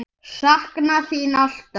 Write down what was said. Sakna þín alltaf.